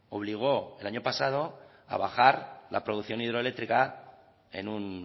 obligó el año pasado a bajar la producción hidroeléctrica en un